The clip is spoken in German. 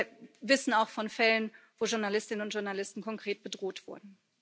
Wir wissen auch von Fällen, in denen Journalistinnen und Journalisten konkret bedroht wurden.